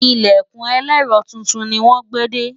ilẹkùn elero túntùn ní wón gbé dé